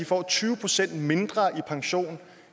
får tyve procent mindre i pension